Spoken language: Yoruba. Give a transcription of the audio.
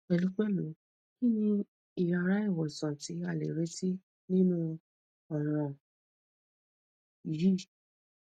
pẹlupẹlu kini iyara iwosanti a le reti ninu ọran yii